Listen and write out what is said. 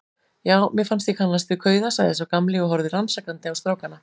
Já, mér fannst ég kannast við kauða sagði sá gamli og horfði rannsakandi á strákana.